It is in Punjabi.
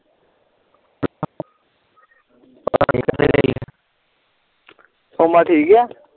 ਸੋਮਾ ਠੀਕ ਆ